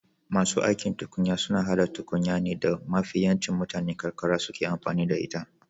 Masu aikin tukunya suna hada tukunya ne da mafi yancin mutanen karkara suke amfani da ita